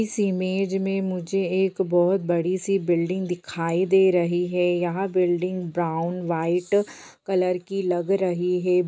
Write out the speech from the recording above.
इस इमेज में मुझे बहुत बड़ी-सी बिल्डिंग दिखाई दे रही है यह बिल्डिंग ब्राउन वाइट कलर की लग रही है।